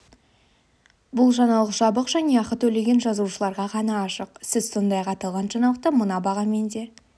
бұл жаңалық жабық және ақы төлеген жазылушыларға ғана ашық сіз сондай-ақ аталған жаңалықты мына бағамен де